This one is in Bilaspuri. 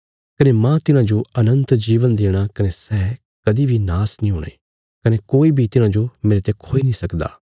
कने माह तिन्हाजो अनन्त जीवन देणा कने सै कदीं बी नाश नीं हूणा कने कोई बी तिन्हांजो मेरेते खोई नीं सकदा